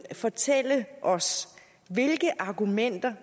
fortælle os hvilke argumenter